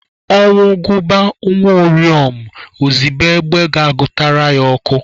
Ọnwụ gụba nwa uriom, ozibe egbe ga-gụtara ya ọkụ.